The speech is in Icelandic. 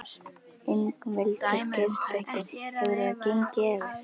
Ingveldur Geirsdóttir: Hefur það gengið eftir?